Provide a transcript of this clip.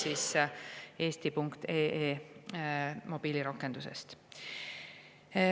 " Jutt käib eesti.ee mobiilirakendusest.